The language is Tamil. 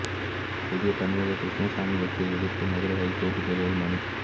புதிய தமிழகம் கிருஷ்ணசாமி வெற்றியை எதிர்த்து மதுரை ஐகோர்ட் கிளையில் மனு